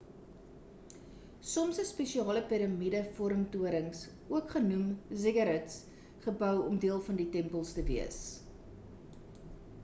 soms is spesiale piramide vorm torings ook genoeg ziggurats gebou om deel van die tempels te wees